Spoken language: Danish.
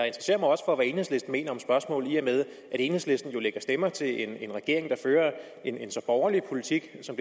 i og med at enhedslisten jo lægger stemmer til en regering der fører en så borgerlig politik som